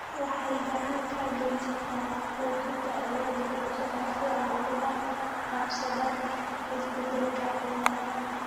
Waxay gacan ka geysataa xoojinta awoodda bulshada si ay ula qabsadaan isbeddelka cimilada.